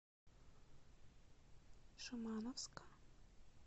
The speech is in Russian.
шимановска